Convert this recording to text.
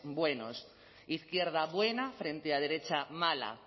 buenos izquierda buena frente a derecha mala